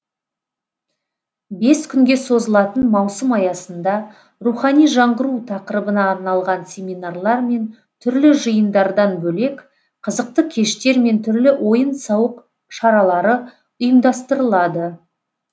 бес күнге созылатын маусым аясында рухани жаңғыру тақырыбына арналған семинарлар мен түрлі жиындардан бөлек қызықты кештер мен түрлі ойын сауық шаралары ұйымдастырылады